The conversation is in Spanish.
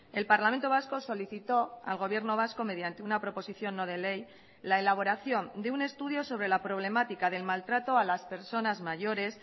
el parlamento vasco solicitó al gobierno vasco mediante una proposición no de ley la elaboración de un estudio sobre la problemática del maltrato a las personas mayores